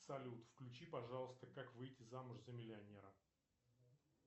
салют включи пожалуйста как выйти замуж за миллионера